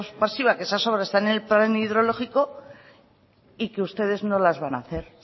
pasiva que esas obras están en el plan hidrológico y que ustedes no las van a hacer